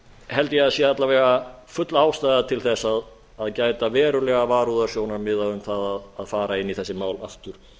held ég að sé alla vega full ástæða til að gæta verulegra varúðarsjónarmiða um það að fara inn í þessi mál aftur